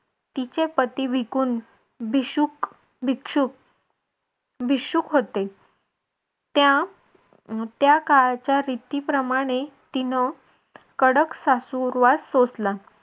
तिचे पती विकूंठ भिशुक भिक्षुक भिशुक होते त्या काळच्या रीतीप्रमाणे तिने कडक सासुरवास सोसला.